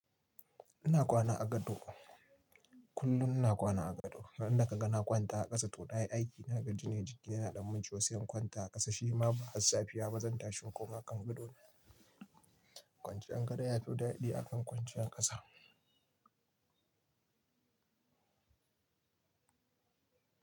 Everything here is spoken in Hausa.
Ina kwana a gado, kullum ina kwana a gado. Ran da ka ga na kwanta a ƙasa to na yi aiki. Na gaji ne jiki yana dan mun ciwo sai in kwanta a ƙasa shi ma ba har safiya ba ne. Zan tashi in koma kan gadona ne. Kwanciyar gado yafi daɗi akan kwanciyar ƙasa.